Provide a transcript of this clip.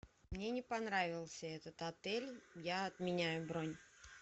мне не понравился этот отель я отменяю бронь